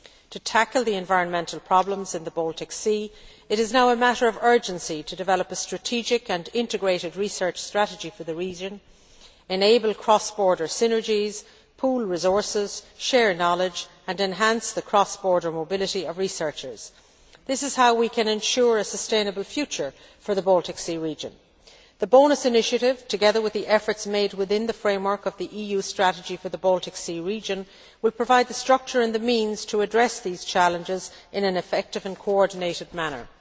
To tackle the environmental problems in the Baltic Sea, it is now a matter of urgency to develop a strategic and integrated research strategy for the region, enable cross border synergies, pool resources, share knowledge and enhance the cross border mobility of researchers. This is how we can ensure a sustainable future for the Baltic Sea region. The BONUS initiative, together with the efforts made within the framework of the EU strategy for the Baltic Sea region, will provide the structure and the means to address these challenges in an effective and coordinated manner.